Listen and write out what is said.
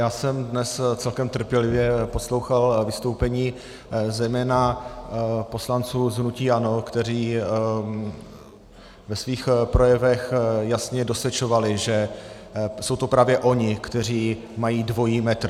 Já jsem dnes celkem trpělivě poslouchal vystoupení zejména poslanců z hnutí ANO, kteří ve svých projevech jasně dosvědčovali, že jsou to právě oni, kteří mají dvojí metr.